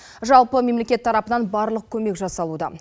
жалпы мемлекет тарапынан барлық көмек жасалуда